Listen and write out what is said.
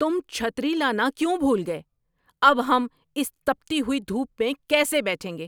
تم چھتری لانا کیوں بھول گئے؟ اب ہم اس تپتی ہوئی دھوپ میں کیسے بیٹھیں گے؟